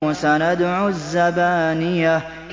سَنَدْعُ الزَّبَانِيَةَ